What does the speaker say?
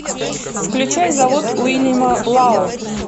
включай завод уильяма лао